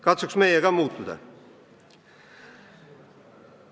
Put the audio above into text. Katsuks meie ka muutuda!